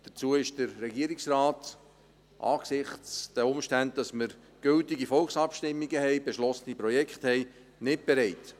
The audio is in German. Zu diesen ist der Regierung, da gültige Volksabstimmungen und beschlossene Projekte vorliegen, nicht bereit.